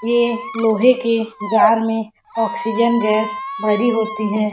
ये लोहे के जार में ऑक्सीजन गैस भरी होती है।